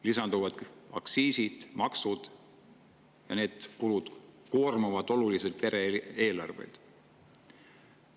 Lisanduvad aktsiisid ja maksud ning need kulud koormavad oluliselt pere-eelarveid.